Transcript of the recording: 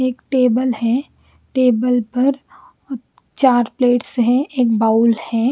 एक टेबल है टेबल पर चार प्लेट्स है एक बाउल है।